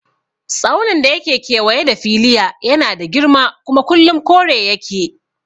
Tsaunin da yake kewaye da Filiya yana da girma kuma kullum kore yake